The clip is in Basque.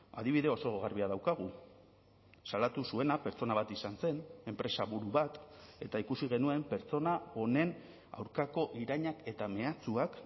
adibide oso garbia daukagu salatu zuena pertsona bat izan zen enpresaburu bat eta ikusi genuen pertsona honen aurkako irainak eta mehatxuak